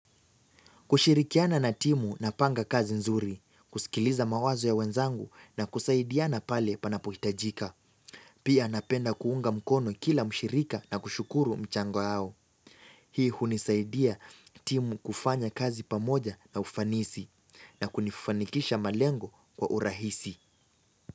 Kushirikiana na timu na panga kazi nzuri, kusikiliza mawazo ya wenzangu na kusaidiana pale panapohitajika. Pia napenda kuunga mkono kila mshirika na kushukuru mchango yao. Hii hunisaidia timu kufanya kazi pamoja na ufanisi na kunifanikisha malengo kwa urahisi.